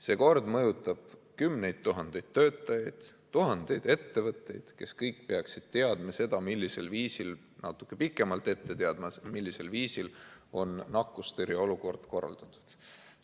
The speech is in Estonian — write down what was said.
See kord mõjutab kümneid tuhandeid töötajaid, tuhandeid ettevõtjaid, kes kõik peaksid natuke pikemalt ette teadma, millisel viisil on nakkustõrje olukord korraldatud.